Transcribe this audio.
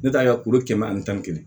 Ne t'a ye ka kulo kɛmɛ ani tan ni kelen